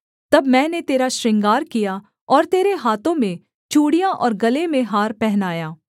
तब मैंने तेरा श्रृंगार किया और तेरे हाथों में चूड़ियाँ और गले में हार पहनाया